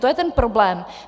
To je ten problém.